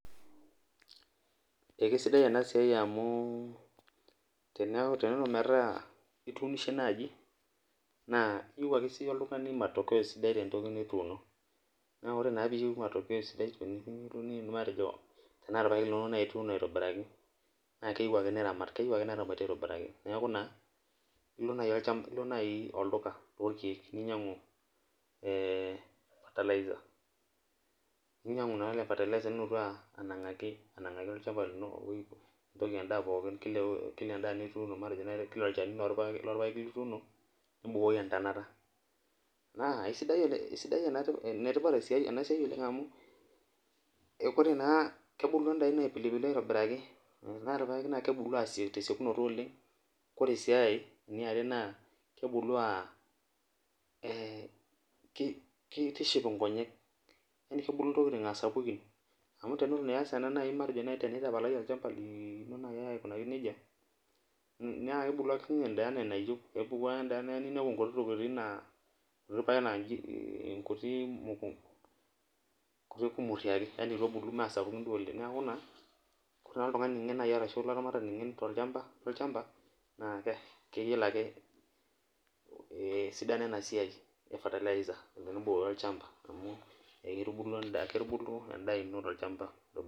Ekisaidia ena siai amu tenelo naji metaa ituunishe naaji naa iyieu eke sii yie oltungani matokea sidai tentoki nituuno. naa tiniyieu naa matokeo sidai matejo tenaa irpaek naaji ituuno aitobiraki naa keyeiu ake niramat ,neramati aitobiraki .neeku naa ilo naaji olduka loorkeek ninyangu fertilizer nilotu naa anangaki olchampa lino matejo Kila olchani lorpaeki lituuno ,nibukoki entonota, naa enetipat ena siai oleng amu ore naa kebulu endaa ino aipilupilu aitobiraki ,ore irpaek naa kebulu tesiokinoto oleng ,ore aee eniare naa kebulu, keitishipi nkonyek yani kebulu ntokiting aa sapukin ,amu tenetu iyas ena tenitapalayie naaji ake olchampa lino nejia naa kebulu ake siininye endaa enaa enayieu ,kebulu ake ninepu nkuti tokiting naa meesapukini duo oleng. neeku naa ore naji olaramatani ngen tolchampa naa keyiolo ake esidano ena siai ee fertilizer tenetubukoko olchampa amu keitubulu endaa ino tolchampa .